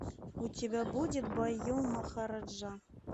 у тебя будет байу махараджа